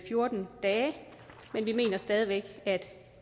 fjorten dage men vi mener stadig væk at